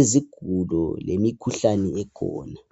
izifo lemikhuhlane ekhona.